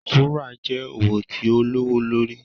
Wúrà jẹ́ òwò tí o lówó lórí